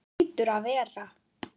Það hlýtur að vera.